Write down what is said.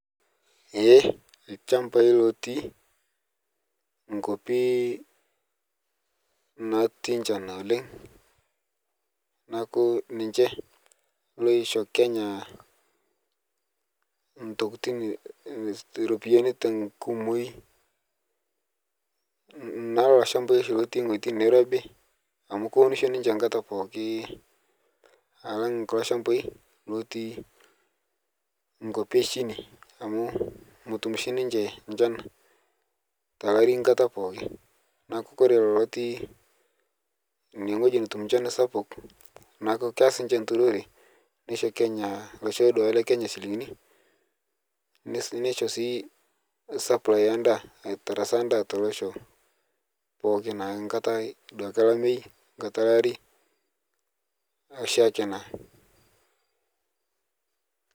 Lshambai lotii nkopi natii nchan oleng naku ninche loisho Kenya ntokitin ropiyani tenkumoi naa lolo lshambai lotii ng'oji neirobi amu keunusho ninche nkata pooki alang kulo lshambai lotii nkopi eshini amu motum shii ninche nchan telari nkata pooki naaku Kore Lolo lotii nie notum nchan sapuk naaku keas ninche nturore nesho kenya losho lekenya silingini neissho sii saplai endaa aitarasa ndaa telosho pooki tankata duake elamei nkata lari oshaake naa.